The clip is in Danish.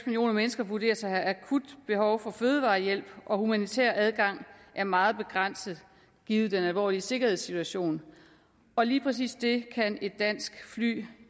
millioner mennesker vurderes at have akut behov for fødevarehjælp og humanitær adgang er meget begrænset givet den alvorlige sikkerhedssituation lige præcis det kan et dansk fly